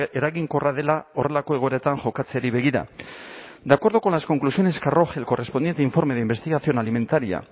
eraginkorra dela horrelako egoeretan jokatzeari begira de acuerdo con las conclusiones que arroje el correspondiente informe de investigación alimentaria